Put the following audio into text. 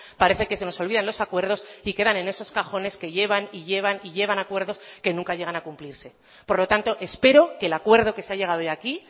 parece que se nos olvidan los acuerdos y quedan en esos cajones que llevan y llevan acuerdos que nunca llegan a cumplirse por lo tanto espero que el acuerdo que se ha llegado hoy aquí